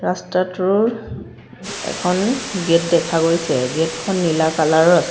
ৰাস্তাটোৰ এখন গেট দেখা গৈছে গেট খন নীলা কালাৰ ৰ আছ--